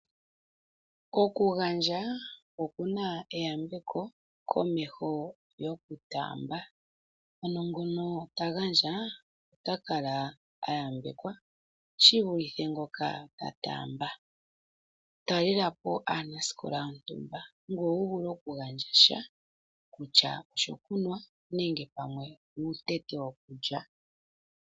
Okugandja oku na eyambeko komeho gokutaamba. Ano ngono ta gandja ota kala a yambekwa shi vulithe ngoka a taamba. Talela po aanasikola yontumba ngoye wu vule okugandja sha kutya oshokunwa nenge pamwe uutete wokulya.